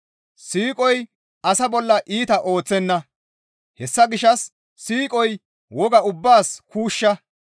Siiqoy asa bolla iita ooththenna; hessa gishshas siiqoy woga ubbaas kuushsha.